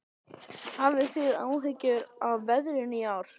Hafið þið áhyggjur af veðrinu í ár?